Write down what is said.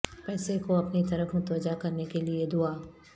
پیسے کو اپنی طرف متوجہ کرنے کے لئے دعا